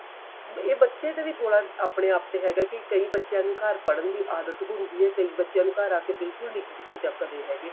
ਇਹ ਬੱਚੇ ਤੇ ਵੀ ਥੋੜਾ ਆਪਣੇ ਆਪ ਤੇ ਹੈਗਾ ਕੀ ਕਈ ਬੱਚਿਆਂ ਨੂੰ ਘਰ ਪੜ੍ਹਣ ਦੀ ਆਦਤ ਹੁੰਦੀ ਏ ਕਈ ਬੱਚਿਆਂ ਨੂੰ ਘਰ ਆ ਕੇ ਬਿਲਕੁਲ ਨੀ book ਚੱਕਦੇ ਹੈਗੇ